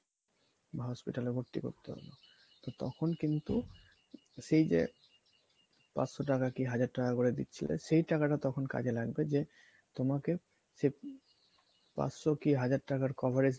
বা hospital এ ভর্তি করতে হলো তো তখন কিন্তু সেই যে পাঁচশ টাকা বা হাজার টাকা করে দিচ্ছিলে সেই টাকাটা তখন কাজে লাগবে যে তোমাকে সে পাঁচশ কি হাজার টাকার coverage